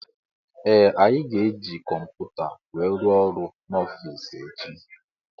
Ee anyị ga -eji kọmputa wee rụọ ọrụ n'ofici echi.